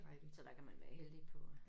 Så der kan man være heldig på